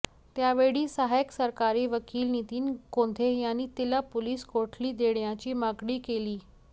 त्यावेळी सहायक सरकारी वकील नितीन कोंघे यांनी तिला पोलीस कोठडी देण्याची मागणी केली